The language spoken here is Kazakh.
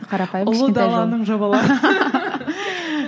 ұлы даланың жобалары